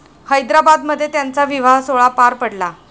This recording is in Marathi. हैदराबादमध्ये त्यांचा विवाहसोहळा पार पडला.